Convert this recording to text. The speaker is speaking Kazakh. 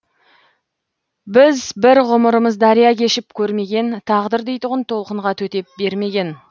біз бір ғұмырмыз дария кешіп көрмеген тағдыр дейтұғын толқынға төтеп бермеген